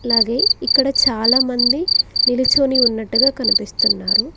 అలాగే ఇక్కడ చాలామంది నిలుచుని ఉన్నట్టుగా కనిపిస్తున్నారు.